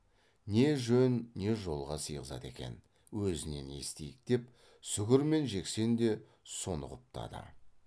не жөн не жолға сыйғызады екен өзінен естиік деп сүгір мен жексен де соны құптады